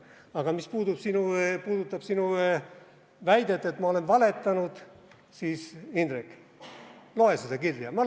Aga mis puudutab sinu väidet, et ma valetasin, siis, Indrek, loe seda kirja!